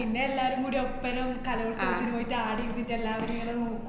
പിന്നെ എല്ലാരും കുടി ഒപ്പരം കലോല്‍സവത്തിന് പോയീട്ട് ആടെ ഇരിന്നിട്ടെല്ലാവരും ഇങ്ങനെ നോക്ക~